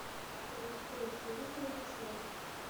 запусти на телевизоре дисней